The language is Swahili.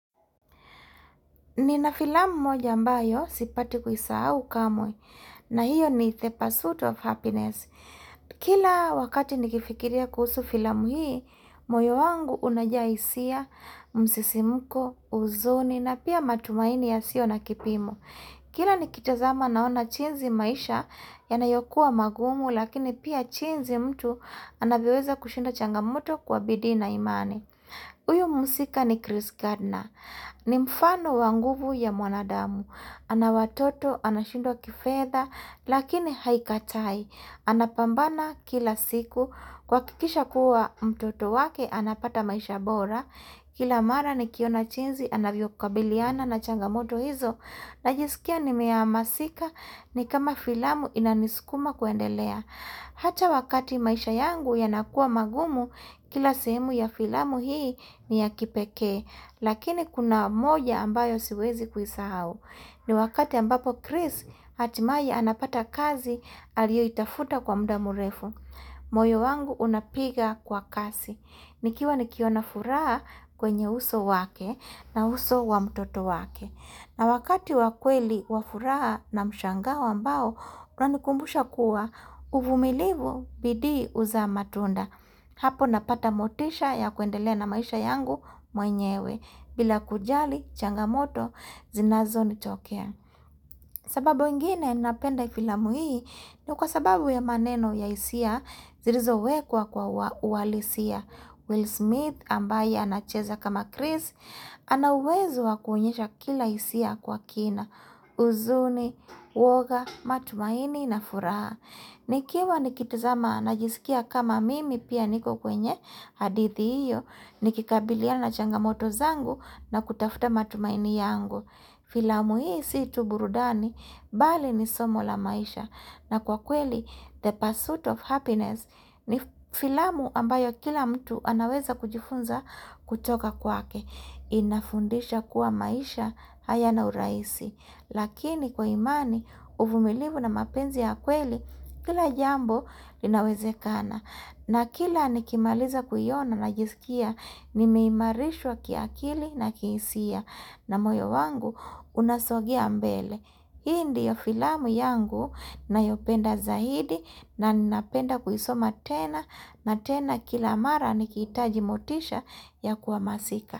Nina filamu moja ambayo, sipati kuisahau kamwe, na hiyo ni the pursuit of happiness. Kila wakati nikifikiria kuhusu filamu hii, moyo wangu unajaa hisia msisimko, uzuni na pia matumaini ya sio na kipimo. Kila nikitazama naona jinzi maisha yanayokuwa magumu lakini pia jinzi mtu anavyoweza kushinda changamato kwa bidii na imani. Uyu muhusika ni Chris Gardner, ni mfano wa nguvu ya mwanadamu, ana watoto anashindwa kifedha lakini haikatai, anapambana kila siku, kuhakikisha kuwa mtoto wake anapata maisha bora, kila mara nikiona chinzi anavyokabiliana na changamoto hizo, najisikia nimeamasika ni kama filamu inanisukuma kuendelea. Hata wakati maisha yangu yanakua magumu kila sehemu ya filamu hii ni ya kipekee Lakini kuna moja ambayo siwezi kuisahau ni wakati ambapo Chris hatimae anapata kazi alioitafuta kwa mda mrefu moyo wangu unapiga kwa kasi nikiwa nikiona furaha kwenye uso wake na uso wa mtoto wake na wakati wakweli wafuraha na mshangao ambao, uanikumbusha kuwa uvumilivu bidii uzaa matunda. Hapo napata motisha ya kuendelea na maisha yangu mwenyewe bila kujali changamoto zinazonitokea. Sababu ingine napenda filamu hii ni kwa sababu ya maneno ya hisia zilizo wekwa kwa uwalisia. Will Smith ambaye anacheza kama Chris, anauwezo wakuonyesha kila hisia kwa kina, uzuni, woga, matumaini na furaha. Nikiwa nikitazama najisikia kama mimi pia niko kwenye hadithi iyo, nikikabiliana na changamoto zangu na kutafuta matumaini yangu. Filamu hii situburudani bali ni somo la maisha na kwa kweli the pursuit of happiness ni filamu ambayo kila mtu anaweza kujifunza kutoka kwake. Inafundisha kuwa maisha hayana urahisi. Lakini kwa imani, uvumilivu na mapenzi ya kweli kila jambo linawezekana. Na kila nikimaliza kuiona najisikia nimeimarishwa kiakili na kihisia na moyo wangu unasogea mbele. Hii ndiyo filamu yangu nayopenda zaidi na ninapenda kuisoma tena na tena kila mara nikihitaji motisha ya kuamasika.